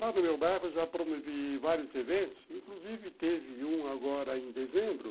Lá no meu bairro eu já promovi vários eventos, inclusive teve um agora em dezembro.